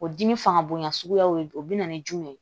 O dimi fanga bonya suguyaw de do o bɛna ni jumɛn ye